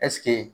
Ɛseke